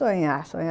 Sonhar, sonhar.